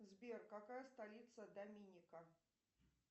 сбер какая столица доминика